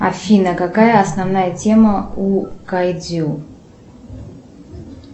афина какая основная тема у кайдзю